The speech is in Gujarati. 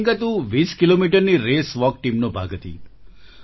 પ્રિયંકા તું 20 કિલોમીટરની રેસ વાલ્ક Teamનો ભાગ હતી